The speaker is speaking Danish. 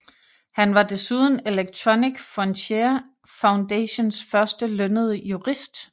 Han var desuden Electronic Frontier Foundations første lønnede jurist